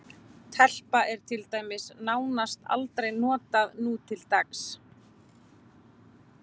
Telpa er til dæmis nánast aldrei notað nútildags.